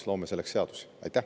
Me loome selleks seadusi.